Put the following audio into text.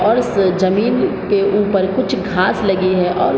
और उस जमीन के उपर कुछ घास लगे हैं अब |